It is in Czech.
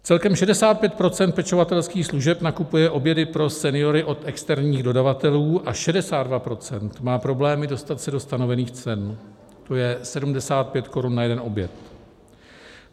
Celkem 65 % pečovatelských služeb nakupuje obědy pro seniory od externích dodavatelů a 62 % má problémy dostat se do stanovených cen, to je 75 korun na jeden oběd.